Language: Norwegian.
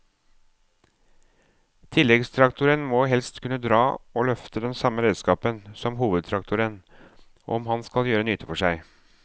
Tilleggstraktoren må helst kunne dra og løfte den samme redskapen som hovedtraktoren om han skal gjøre nytte for seg.